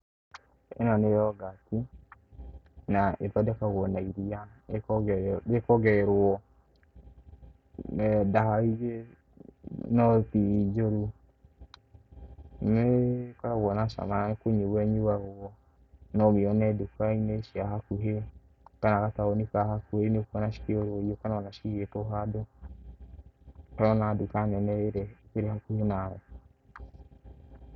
Ĩno nĩ yogati, na ĩthondekagwo na iria rĩkongererwo ndawa ingĩ, no ti njũru. Nĩ ĩkoragwo na cama, na nĩkũnyuo ĩnyũagwo. No ũmĩone ndũka-inĩ cia hakũhĩ kana gataũ-inĩ ka hakũhĩ, nĩ ũkũona cikĩũrũrio kana cigĩtwo handũ ũrona nduka nene iria irĩ hakũhĩ nawe.